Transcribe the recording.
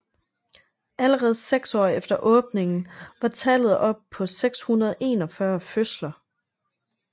Allerede seks år efter åbningen var tallet oppe på 641 fødsler